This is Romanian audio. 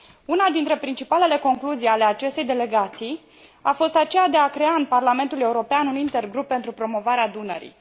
Una dintre principalele concluzii ale acestei delegații a fost aceea de a crea în Parlamentul European un inter grup pentru promovarea Dunării.